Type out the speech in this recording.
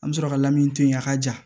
An bɛ sɔrɔ ka lamini to yen a ka ja